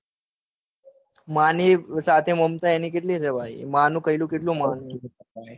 માની સાથે એની મમતા કેવી છે. માનું કહ્યું કેટલું માને છે.